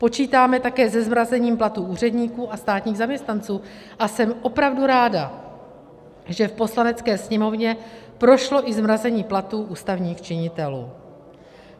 Počítáme také se zmrazením platů úředníků a státních zaměstnanců, a jsem opravdu ráda, že v Poslanecké sněmovně prošlo i zmrazení platů ústavních činitelů.